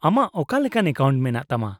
-ᱟᱢᱟᱜ ᱚᱠᱟ ᱞᱮᱠᱟᱱ ᱮᱠᱟᱣᱩᱱᱴ ᱢᱮᱱᱟᱜ ᱛᱟᱢᱟ ?